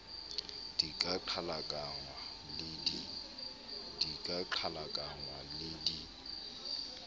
di ka qhalakanngwa le di